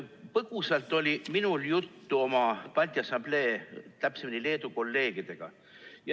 Põgusalt oli minul juttu oma kolleegidega Balti Assamblees, täpsemini Leedu kolleegidega.